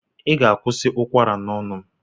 Ị ga-akwụsị ụkwara n'ọnụ m!